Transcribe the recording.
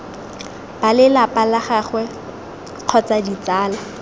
balelapa la gagwe kgotsa ditsala